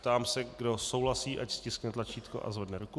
Ptám se, kdo souhlasí, ať stiskne tlačítko a zvedne ruku.